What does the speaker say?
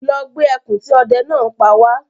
Lọ gbé ẹkùn tí ọdẹ náà pa wá